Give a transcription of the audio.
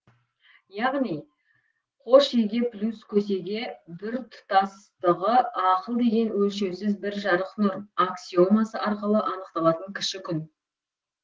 яғни қош еге плюс көсеге біртұтастығы ақыл деген өлшеусіз бір жарық нұр аксиомасы арқылы анықталатын кіші күн